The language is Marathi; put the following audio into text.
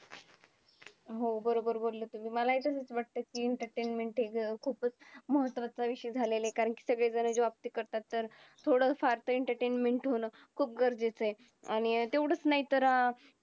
वर्षा शरद हेमंत या तीन ऋतूंच्या काळाला दक्षिण आयन म्हणतात.